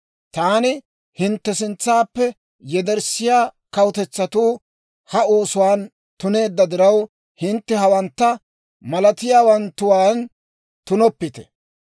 « ‹Taani hintte sintsaappe yederssiyaa kawutetsatuu ha oosotuwaan tuneedda diraw, hintte hawantta malatiyaawatuwaan tunoppite.